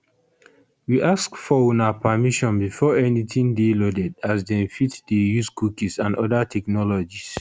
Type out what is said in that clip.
we ask for una permission before anytin dey loaded as dem fit dey use cookies and oda technologies